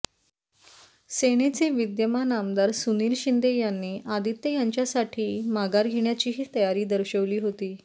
सेनेचे विद्यमान आमदार सुनील शिंंदे यांनी आदित्य यांच्यासाठी माघार घेण्याचीही तयारी दर्शवली होती